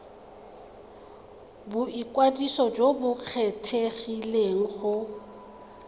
boikwadiso jo bo kgethegileng go